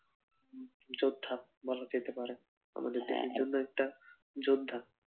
যোদ্ধা বলা যেতে পারে আমাদের দেশের জন্য জন্য একটা যোদ্ধা।